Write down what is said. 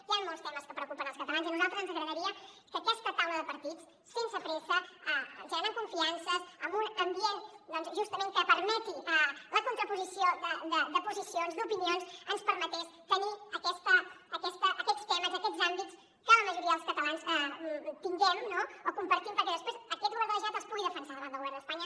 hi han molts temes que preocupen els catalans i a nosaltres ens agradaria que aquesta taula de partits sense pressa generant confiances en un ambient doncs justament que permeti la contraposició de posicions d’opinions ens permetés tenir aquests temes aquests àmbits que la majoria dels catalans tinguem o compartim perquè després aquest govern de la generalitat els pugui defensar davant del govern d’espanya